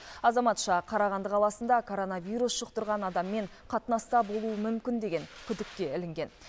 азаматша қарағанды қаласында коронавирус жұқтырған адаммен қатынаста болуы мүмкін деген күдікке ілінген